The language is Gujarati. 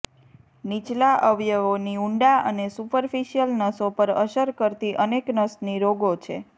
નીચલા અવયવોની ઊંડા અને સુપરફિસિયલ નસો પર અસર કરતી અનેક નસની રોગો છે